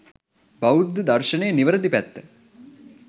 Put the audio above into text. බෞද්ධ දර්ශනයේ නිවැරදි පැත්ත